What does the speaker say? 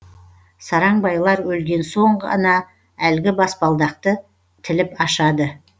сараң байлар өлген соң ғана әлгі баспалдақты тіліп ашады